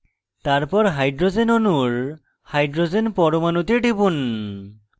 তারপর hydrogen অণুর hydrogen পরমাণুতে টিপুন